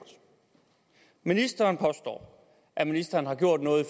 ministeren påstår at ministeren har gjort noget i